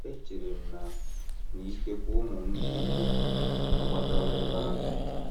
Echere m na na ikekwe ụmụ m ndị inyom agbagawo ebe ahụ.